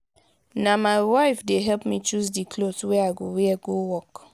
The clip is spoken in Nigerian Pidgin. na my wife dey help me choose di cloth wey i go wear go work.